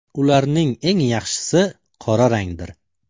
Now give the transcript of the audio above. Ularning eng yaxshisi qora rangdir.